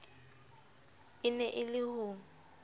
e ne e se ho